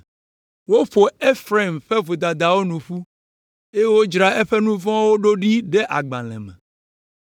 Woƒo Efraim ƒe vodadawo nu ƒu, eye wodzra eƒe nu vɔ̃wo ɖo ɖe agbalẽ me.